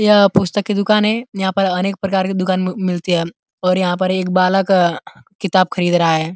यह पुस्तक की दूकान है। यहाँ पर अनेक प्रकार की दूकान मिलती है और यहाँ पर एक बालक किताब खरीद रहा है।